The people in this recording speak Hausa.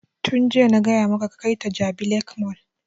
Tun jiya na gaya maka ka kai ta jabi lake mall!